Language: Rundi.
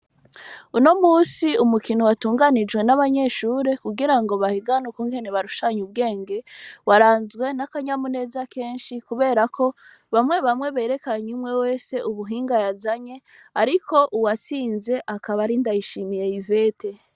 Uno munsi, umukino watunganijwe n'abanyeshure, kugira ngo, bahiganwe, ukungene, barushanya ubwenge; waranzwe, n'akanyamuneza kenshi, kubera ko, bamwe bamwe, berekanye umwe wese, ubuhinga yazanye; ariko, uwatsinze akaba ari Ndayishimiye ivete.